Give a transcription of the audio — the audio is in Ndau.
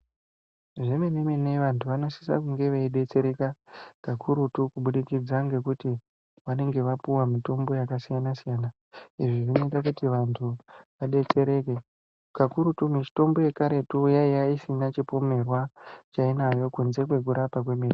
Zvomene-mene vantu vanosise kunge veidetsereka kakurutu kubidikidza ngekuti vanenge vapuwa mitombo yakasiyana-siyana. Izvi zvinoite kuti vantu vadetsereke kakurutu mitombo yekaretu yaive ishina chipomerwa chainacho kunze kwekurapa kwemene.